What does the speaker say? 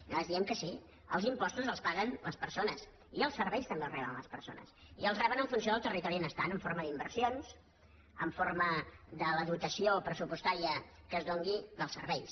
i nosaltres diem que sí els impostos els paguen les persones i els serveis també els reben les persones i els reben en funció del territori on estan en forma d’inversions en forma de la dotació pressupostària que es doni dels serveis